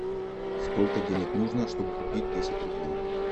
сколько денег нужно чтобы купить десять рублей